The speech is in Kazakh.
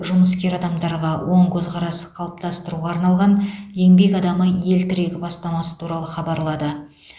жұмыскер адамдарға оң көзқарас қалыптастыруға арналған еңбек адамы ел тірегі бастамасы туралы хабарлады